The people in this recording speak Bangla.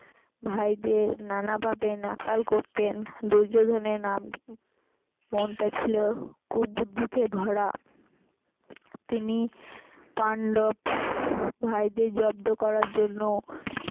ভাইদের নানা ভাবে নাকাল করতেন দূর্যোধনের নাম মনটা ছিল কুবুদ্ধিতে ভরা তিনি পান্ডব ভাইদের জব্দ করার জন্য